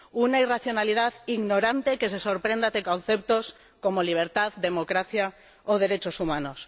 Una irracionalidad ignorante que se sorprende ante conceptos como libertad, democracia o derechos humanos.